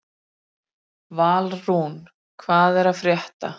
Valrún, hvað er að frétta?